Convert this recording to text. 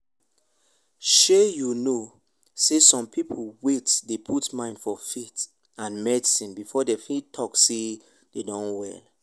shey you know sey some people wait dey put mind for faith and medicine before dem fit talk sey dem don well